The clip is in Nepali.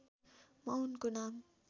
म उनको नाम